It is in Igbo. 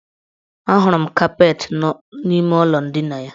Ahụrụ m kapeetị n' ime ụlọ ndina ya.